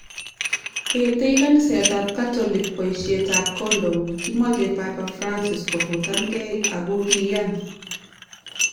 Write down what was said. Etei kanisetab katolik poishet ap kondom. Kimochei Papa Francis kofutan gei ako kiiyan